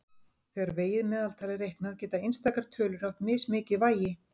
Þegar vegið meðaltal er reiknað geta einstakar tölur haft mismikið vægi.